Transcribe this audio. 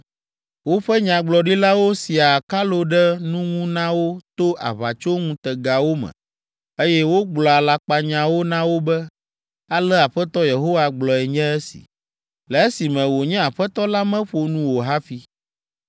Woƒe nyagblɔɖilawo siaa akalo ɖe nu ŋu na wo to aʋatsoŋutegawo me, eye wogblɔa alakpanyawo na wo be, ‘Ale Aƒetɔ Yehowa gblɔe nye esi.’ Le esime wònye Aƒetɔ la meƒo nu o hafi.